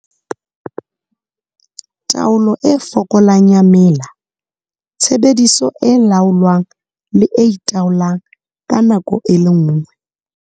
Taolo e fokolang ya mela, Tshebediso e laolwang le e itaolang ka nako e le nngwe.